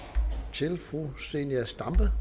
til fru zenia stampe